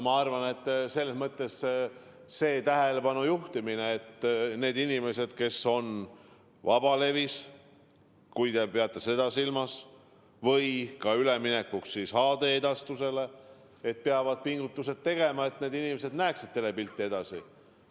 Ma arvan, et on vaja tähelepanu juhtida sellele, et need inimesed, kes tegelevad vabaleviga – te vist peate seda silmas – peaksid üleminekuks HD-edastusele tegema pingutusi, et kõik inimesed näeksid telepilti ka edaspidi.